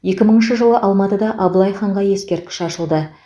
екі мыңыншы жылы алматыда абылай ханға ескерткіш ашылды